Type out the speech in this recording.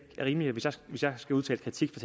er rimeligt hvis jeg skal udtale kritik